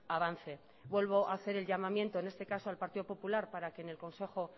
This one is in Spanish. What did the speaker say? avance vuelvo a hacer el llamamiento en este caso al partido popular para que en el consejo